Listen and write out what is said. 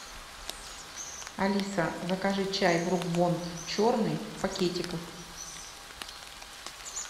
алиса закажи чай брук бонд черный в пакетиках